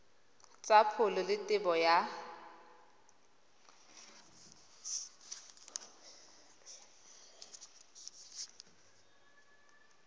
tsa pholo le tebo ya